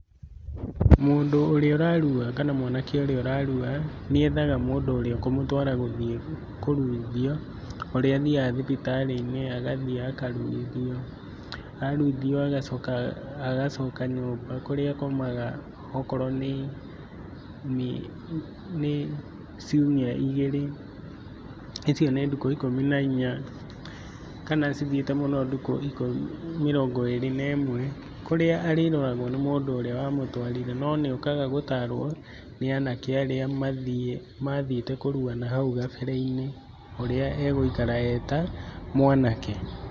Mũndũ ũrĩa ũrarua kana mwanake ũrĩa ũrarua nĩ ethaga mũndũ ũrĩa akũmũtwara gũthiĩ kũruithio ũrĩa athiaga thibitarĩ-inĩ, agathiĩ akaruithio, a rũithio agacoka agacoka nyũmba kũrĩa akomaga akorwo nĩ, ciumia igĩrĩ icio nĩ ndukũ ikũmi na inya kana cithiĩte mũno ndukũ mĩrongo ĩrĩ na ĩmwe kũrĩa arĩroragwo nĩ mũndũ ũrĩa wa mũtwarire no nĩ okaga gũtarwo nĩ anake arĩa mathiĩte kũrua na hau kabere-inĩ ũrĩa egũikara eta mwanake.